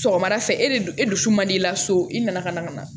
Sɔgɔmada fɛ e de du e dusu man di la so i nana ka na ka na